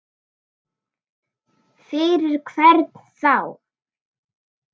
Fyrir hvern þá?